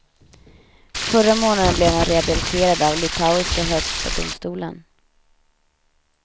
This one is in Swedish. Förra månaden blev han rehabiliterad av litauiska högsta domstolen.